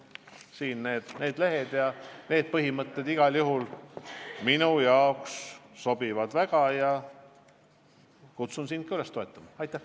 Selle lehtedele kirja pandud põhimõtted igal juhul sobivad mulle väga ja kutsun sind ka üles neid toetama.